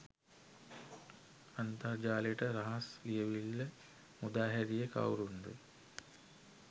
අන්තර් ජාලයට රහස් ලියවීල්ල මුදා හැරියෙ කවුරුන්ද?